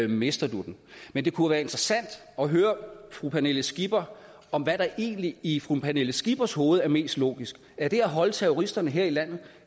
mister du den men det kunne være interessant at høre fru pernille skipper om hvad der egentlig i fru pernille skippers hoved er mest logisk er det at holde terroristerne her i landet